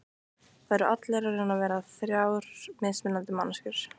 Það eru allir að reyna að vera þrjár mismunandi manneskjur.